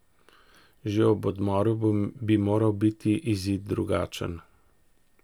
Že ob odmoru bi moral biti izid drugačen.